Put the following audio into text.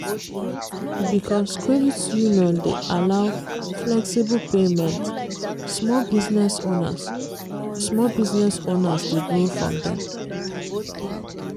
because credit union dey allow flexible payment small business owners small business owners dey borrow from dem.